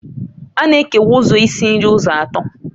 A na-ekewa ụzọ isi nri ụzọ atọ